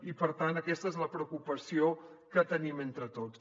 i per tant aquesta és la preocupació que tenim entre tots